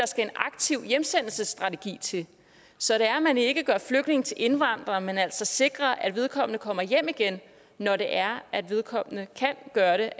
skal en aktiv hjemsendelsesstrategi til så det er at man ikke gør flygtninge til indvandrere men altså sikrer at vedkommende kommer hjem igen når det er at vedkommende kan gøre det